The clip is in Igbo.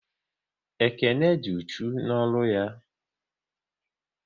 Ekene dị uchu n'ọrụ ya